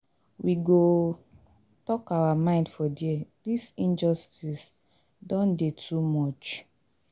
We go talk our mind for there, dis injustice don dey too much.